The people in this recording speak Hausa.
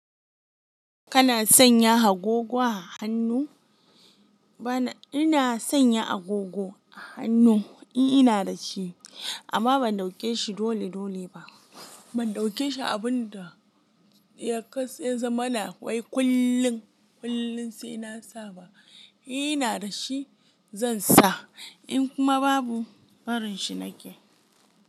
Kana sanya agogo a hannu? Bana, ina sanya agogo a hannu, in ina da shi amma ban ɗauke shi dole dole ba. Ban ɗauke shi abun da, ya za mana wai kullin, kullun sai na sa ba. In ina da shi, zan sa, in kuma babu barin shi nake.